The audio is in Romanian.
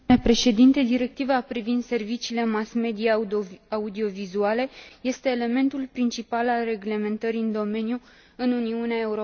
Directiva privind serviciile mass media audiovizuale este elementul principal al reglementării în domeniu în Uniunea Europeană.